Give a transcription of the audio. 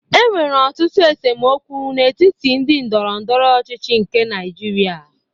E nwere ọtụtụ esemokwu n'etiti ndị ndọrọndọrọ ọchịchị nke Naịjirịa